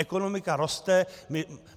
Ekonomika roste.